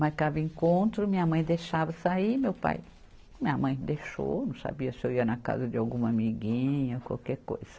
Marcava encontro, minha mãe deixava sair, meu pai... Minha mãe deixou, não sabia se eu ia na casa de alguma amiguinha, qualquer coisa.